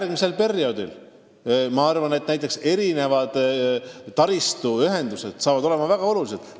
Järgmisel perioodil saavad väga olulised olema mitmesugused taristuühendused.